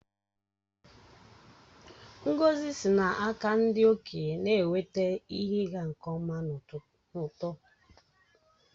Ngọzi sị n’aka ndị okenye na-eweta ihe ịga nke ọma na uto.